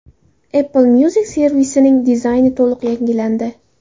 Apple Music servisining dizayni to‘liq yangilandi.